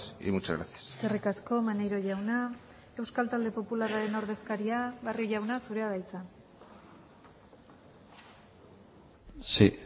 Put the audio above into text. y muchas gracias eskerrik asko maneiro jauna euskal talde popularraren ordezkaria barrio jauna zurea da hitza sí